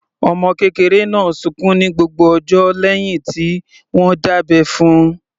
Ọmọ kékeré náà sunkún ní gbogbo ọjọ́ lẹ́hìn tí wọ́n dábẹ́ fún - un.